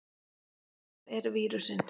Hvar er vírusinn?